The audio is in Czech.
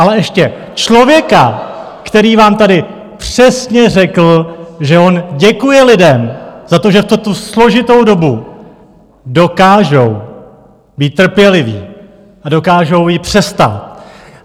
Ale ještě člověka, který vám tady přesně řekl, že on děkuje lidem za to, že v tuto složitou dobu dokážou být trpěliví a dokážou ji přestát.